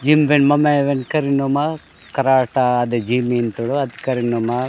जिन्भेम मामा मेनकर नोमा कराटा द जिल मिल तोड़ो अतकर नामा --